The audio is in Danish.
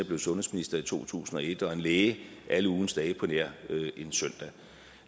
blev sundhedsminister i to tusind og et og en læge alle ugens dage på nær søndag